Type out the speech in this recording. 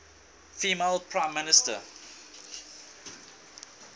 female prime minister